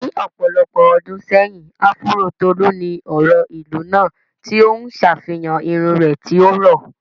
Ní ọ̀pọ̀lọpọ̀ ọdún sẹ́yìn, áfúró Tolu ni ọ̀rọ̀ ìlú náà, tí ó ń ṣàfihàn irun rẹ̀ tí ó rọ̀.